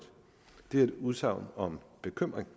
det er et udsagn om bekymring